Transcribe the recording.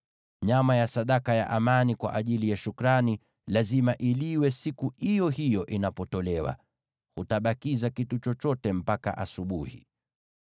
Nyama ya sadaka ya amani kwa ajili ya shukrani lazima iliwe siku iyo hiyo inapotolewa; hutabakiza kitu chochote mpaka asubuhi.